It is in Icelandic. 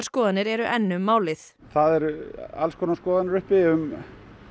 skoðanir eru enn um málið það eru alls konar skoðanir uppi um